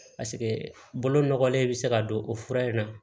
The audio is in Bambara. Paseke bolo nɔgɔlen bɛ se ka don o fura in na